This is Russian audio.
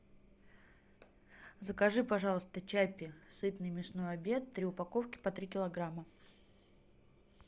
закажи пожалуйста чаппи сытный мясной обед три упаковки по три килограмма